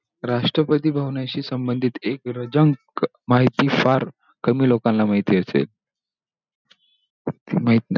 राष्ट्रपती भावनांशी संबंधित एक रंजक माहिती फार कमी लोकांना माहिती असेल. माहित नाही